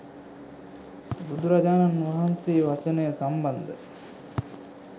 බුදුරජාණන් වහන්සේ වචනය සම්බන්ධ